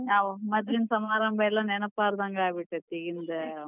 ಮದ್ಲಿನ್ ಸಮಾರಂಭ ಎಲ್ಲಾ ನೆನಪಹಾರಿದಂಗ್ ಆಗಿಬಿಟ್ಟೆತಿ ಇಂದ್.